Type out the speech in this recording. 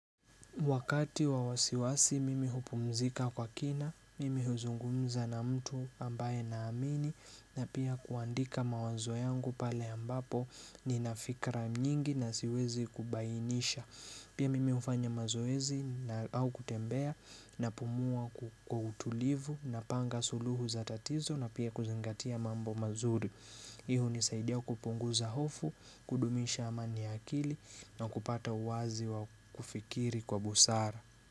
Wakati wa wasiwasi mimi hupumzika kwa kina, mimi huzungumza na mtu ambaye naamini na pia kuandika mawazo yangu pale ambapo nina fikra nyingi na siwezi kubainisha. Pia mimi hufanya mazoezi au kutembea napumua kwa utulivu napanga suluhu za tatizo na pia kuzingatia mambo mazuri. Hii unisaidia kupunguza hofu, kudumisha amani ya akili na kupata uwazi wa kufikiri kwa busara.